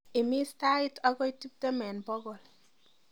imis tait agoi tiptem en bogol